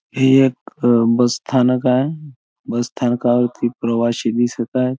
हे एक बस स्थानक आहे बस स्थानाकावरती प्रवाशी दिसत आहेत.